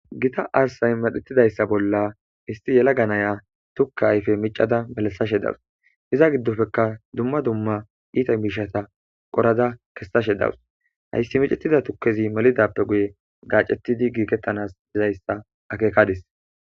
Githa arssay maxeththizayssa bolla isththi yeelaga na7iya thukka ayfe miccada melissashe dawus; iza giddopeka dumma dumma iitha miishshatha qorada kessashe dawus; hayssi maxethiza thukkethi melizaappe guye gaaceththidi giigeththanas dizayssa akeekades.